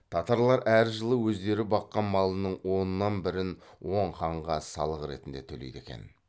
татарлар әр жылы өздері баққан малының оннан бірін оң ханға салық ретінде төлейді екен